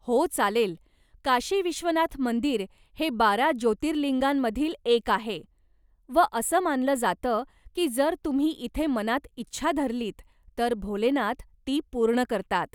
हो चालेल, काशी विश्वनाथ मंदिर हे बारा ज्योतिर्लिंगांमधील एक आहे व असं मानलं जातं की जर तुम्ही इथे मनात इच्छा धरलीत तर भोलेनाथ ती पूर्ण करतात.